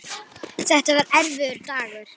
Þetta var erfiður dagur.